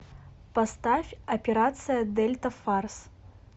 поставь операция дельта фарс